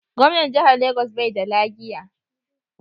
Gwamnan Jihar Lagos bai da lagiya.